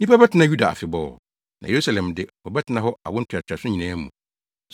Nnipa bɛtena Yuda afebɔɔ na Yerusalem de, wɔbɛtena hɔ awo ntoatoaso nyinaa mu.